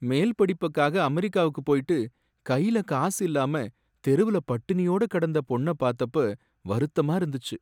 மேல் படிப்புக்காக அமெரிக்காவுக்கு போயிட்டு கையில காசு இல்லாம தெருவுல பட்டினியோட கடந்த பொண்ண பாத்தப்ப வருத்தமா இருந்துச்சு.